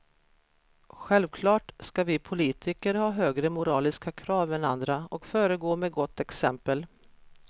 Självklart ska vi politiker ha högre moraliska krav än andra och föregå med gott exempel.